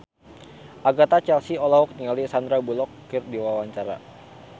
Agatha Chelsea olohok ningali Sandar Bullock keur diwawancara